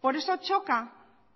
por eso choca